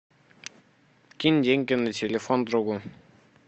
кинь деньги на телефон другу